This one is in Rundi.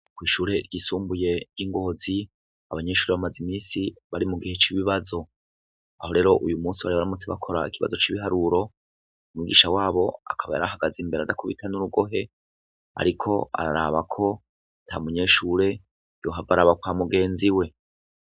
Ukwishure ryisumbuye ry'ingozi abanyeshure bamaze imisi bari mu gihe c'ibibazo aho rero uyu musi bari abaramutse bakora ikibazo c'ibiharuro umwugisha wabo akaba yarahagaze imbere adakubitan'urugohe, ariko ararabako ta munyeshure yohavarabakwa mugenzi we.